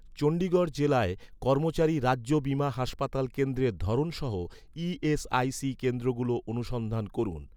চণ্ডীগড় জেলায়, কর্মচারী রাজ্য বীমা হাসপাতাল কেন্দ্রের ধরন সহ, ই.এস.আই.সি কেন্দ্রগুলো অনুসন্ধান করুন